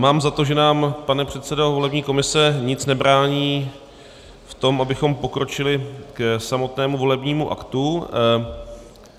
Mám za to, že nám, pane předsedo volební komise, nic nebrání v tom, abychom pokročili k samotnému volebnímu aktu.